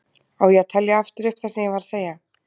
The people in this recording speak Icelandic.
Á ég að telja aftur upp það sem ég var að segja?